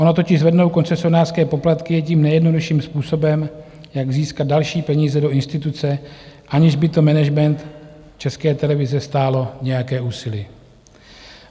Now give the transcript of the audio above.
Ono totiž zvednout koncesionářské poplatky je tím nejjednodušším způsobem, jak získat další peníze do instituce, aniž by to management České televize stálo nějaké úsilí.